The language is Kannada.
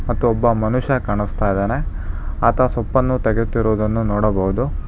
ಮತ್ತು ಒಬ್ಬ ಮನುಷ್ಯ ಕಾಣಸ್ತಾ ಇದಾನೆ ಆತ ಸೊಪ್ಪನ್ನು ತೆಗೆಯುತ್ತಿರುವುದನ್ನು ನೋಡಬಹುದು.